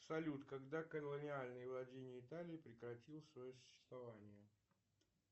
салют когда колониальные владения италии прекратил свое существование